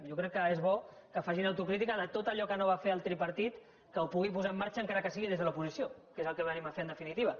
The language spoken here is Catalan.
jo crec que és bo que facin autocrítica de tot allò que no va fer el tripartit que ho pugui posar en marxa encara que sigui des de l’oposició que és el que venim a fer en definitiva